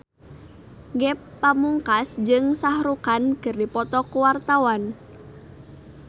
Ge Pamungkas jeung Shah Rukh Khan keur dipoto ku wartawan